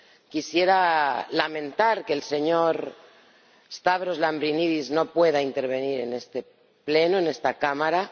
quisiera lamentar que el señor Lambrinidis no pueda intervenir en este Pleno, en esta Cámara.